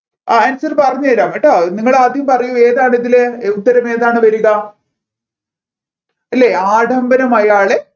ആ answer പറഞ്ഞു തരാം കേട്ടോ നിങ്ങൾ ആദ്യം പറയു ഏതാണ് ഇതിൽ ഉത്തരം ഏതാണ് വരിക അല്ലെ ആഡംബരം അയാളെ